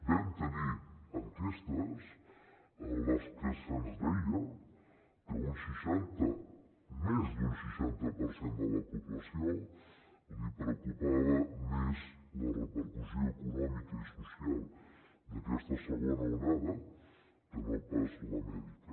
vam tenir enquestes en les que se’ns deia que a un seixanta a més d’un seixanta per cent de la població li preocupava més la repercussió econòmica i social d’aquesta segona onada que no pas la mèdica